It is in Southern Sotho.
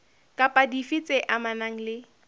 kapa dife tse amanang le